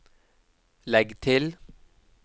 legg til